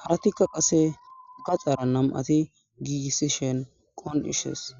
harati qasekkakaxara namati gigisidhini qoncisesi